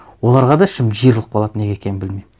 оларға да ішім жиырылып қалады неге екенін білмеймін